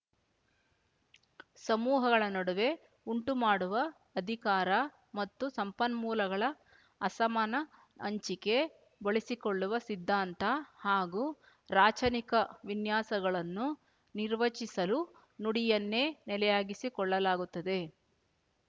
ಸಮೂಹಗಳ ನಡುವೆ ಉಂಟುಮಾಡುವ ಅಧಿಕಾರ ಮತ್ತು ಸಂಪನ್ಮೂಲಗಳ ಅಸಮಾನ ಹಂಚಿಕೆ ಬಳಸಿಕೊಳ್ಳುವ ಸಿದ್ಧಾಂತ ಹಾಗೂ ರಾಚನಿಕ ವಿನ್ಯಾಸಗಳನ್ನು ನಿರ್ವಚಿಸಲು ನುಡಿಯನ್ನೇ ನೆಲೆಯಾಗಿಸಿಕೊಳ್ಳಲಾಗುತ್ತದೆ